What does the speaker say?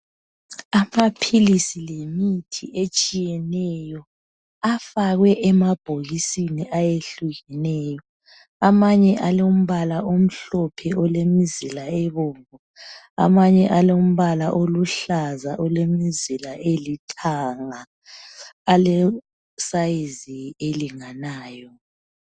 Amaphilisi lemithi etshiyeneyo afakwe emabhokisini ayehlukeneyo amanye alombala omhlophe lemzila ebomvu amanye alombala oluhlaza lemizila elithanga alesize elinganayo